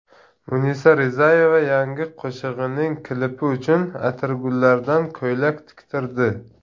Munisa Rizayeva yangi qo‘shig‘ining klipi uchun atirgullardan ko‘ylak tiktirdi .